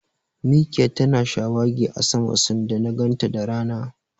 Mikiyar tana shawagi a sama sanda na ganta da rana.